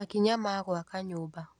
Makinya ma gũaka nyũmba.